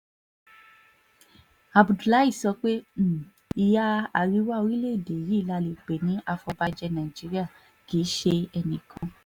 abdullahi sọ pé um ìhà àríwá orílẹ̀‐èdè yìí la lè pè ní àfọ̀bàjé nàìjíríà kì í ṣe um enìkan